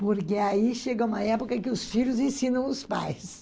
Porque aí chega uma época que os filhos ensinam os pais.